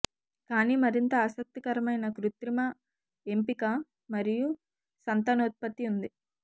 కానీ మరింత ఆసక్తికరమైన కృత్రిమ ఎంపిక మరియు సంతానోత్పత్తి ఉంది